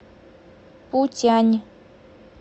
путянь